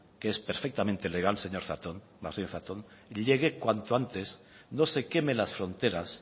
que es perfectamente legal señor martínez zatón llegue cuanto antes no se queme en las fronteras